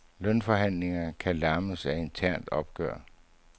Lønforhandling kan lammes af internt opgør.